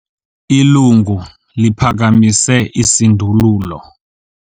Ilungu liphakamise isindululo.